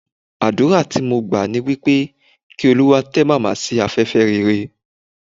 Àdúrà tí mo gbà ni wípé, kí Olúwa tẹ́ Màmá sí afẹ́fẹ́ rere.